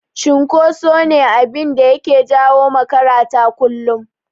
Cunkoso shi ne abinda yake jawo makarata kullum.